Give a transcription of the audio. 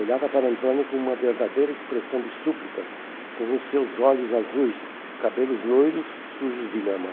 Olhava para Antônio como uma verdadeira expressão de súplica, com os seus olhos azuis, cabelos loiros, sujos de lama.